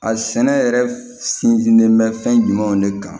A sɛnɛ yɛrɛ sinsinnen bɛ fɛn jumɛnw de kan